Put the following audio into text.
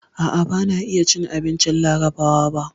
A'a, ban iya cin abincin Larabawa ba.